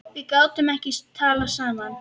Við gátum ekki talað saman.